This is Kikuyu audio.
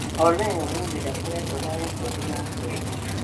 Olly ũmũthĩ ndakoretwo na rekondi ya kwendia